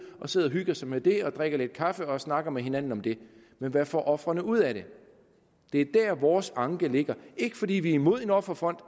og sidder og hygger sig med det og drikker lidt kaffe og snakker med hinanden om det men hvad får ofrene ud af det det er der vores anke ligger ikke fordi vi er imod en offerfond